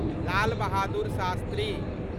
Lal Bahadur Shastri